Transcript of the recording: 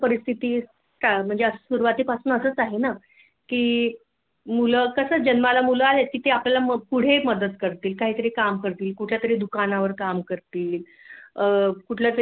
परिस्थिती म्हणजे सुरुवातीपासून असच आहेना की मुल कस जन्माला मुले आली तर पुढे आपल्याला मदत करतील काहीतरी काम करतील कुठल्यातरी दुकानावर काम करतील